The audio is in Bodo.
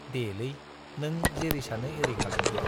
देलै नों जेरै सानो एरै खालामदो।